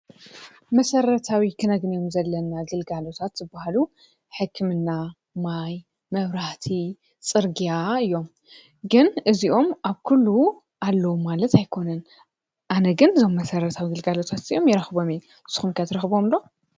መሰረታዊ ክነግንዮም ዘለና ግልጋሎታት ዝበሃሉ ሕክምና ፣ማይ ፣መብራህቲ፣ ፅርግያ እዮም፡፡ ግን እዚኦም ኣብ ኲሉ ኣለዉ ማለት ኣይኮነን፡፡ ኣነ ግን አዞም መሰረታዊ ግልጋሎታት ንስኹም ከ ትረኽብዎም ዶ?